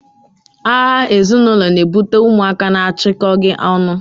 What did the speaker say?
agha ezinaulo na-ebute ụmụaka na-achịkọghị ọnụ.